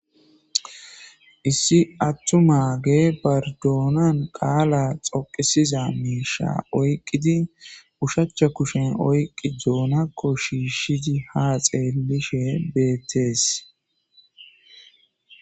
Issi atumageyi bari donai qala xoqisiza misha oyqidi oshacha kushen oyqid doonako shiishidi ha xeelishe beetesi.